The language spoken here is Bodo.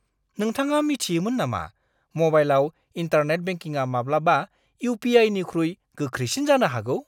नोंथाङा मिथियोमोन नामा म'बाइलाव इन्टारनेट बेंकिंआ माब्लाबा इउ.पि.आइ.निख्रुइ गोख्रैसिन जानो हागौ!